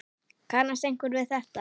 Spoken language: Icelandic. Kannast einhver við þetta?